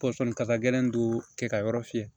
Pɔsɔni kasa gɛlɛn dun tɛ ka yɔrɔ fiyɛ